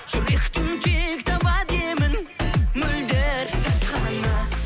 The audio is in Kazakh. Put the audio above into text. жүректің тек табады емін мөлдір сәт қана